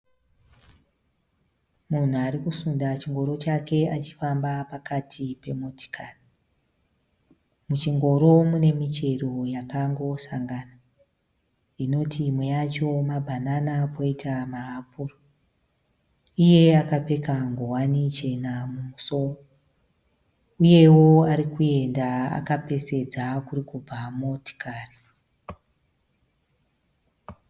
Munhu arikusunda chingoro chake achifamba pakati pemotokari muchingoro munemuchero yakangosangana inoti imwe yachoo mabanana poita maapuru iyewo akapfeka ngowani chena uyewo arikufamba akapesvedza kurikubva motokari.